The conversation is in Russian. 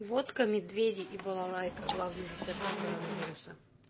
водка медведи и балалайка главный рецепт от коронавируса